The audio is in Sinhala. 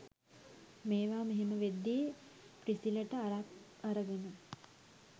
මේවා මෙහෙම වෙද්දි ප්‍රිසිලට අරක් අරගෙන